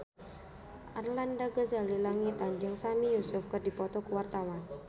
Arlanda Ghazali Langitan jeung Sami Yusuf keur dipoto ku wartawan